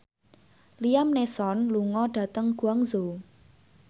Liam Neeson lunga dhateng Guangzhou